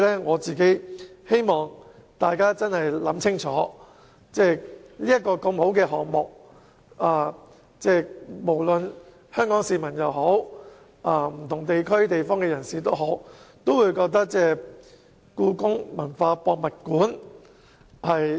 我希望大家明白，故宮館是個很好的項目，香港市民甚至其他地方的人士都希望能在當地興建故宮文化博物館。